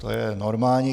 To je normální.